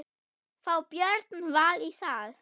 Fá Björn Val í það?